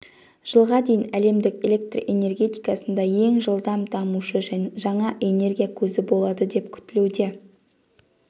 жылға дейін әлемдік электр энергетикасында ең жылдам дамушы жаңа энергия көзі болады деп күтілуде